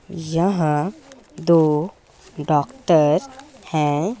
यहां दो डॉक्टर है।